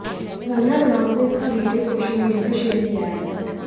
कंगना रनौत ने इसका video social media पर शेयर किया है